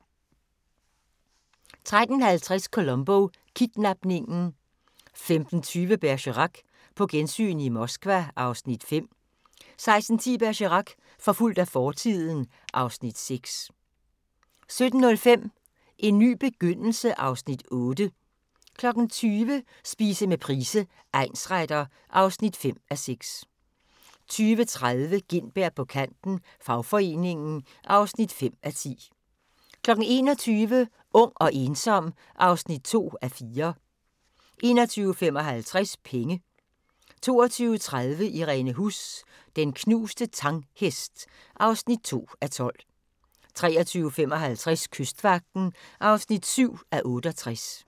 13:50: Columbo: Kidnapningen 15:20: Bergerac: På gensyn i Moskva (Afs. 5) 16:10: Bergerac: Forfulgt af fortiden (Afs. 6) 17:05: En ny begyndelse (Afs. 8) 20:00: Spise med Price, egnsretter (5:6) 20:30: Gintberg på kanten - fagforeningen (5:10) 21:00: Ung og ensom (2:4) 21:55: Penge 22:30: Irene Huss: Den knuste Tang-hest (2:12) 23:55: Kystvagten (7:68)